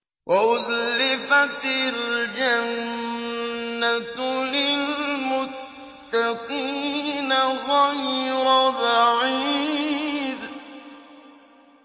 وَأُزْلِفَتِ الْجَنَّةُ لِلْمُتَّقِينَ غَيْرَ بَعِيدٍ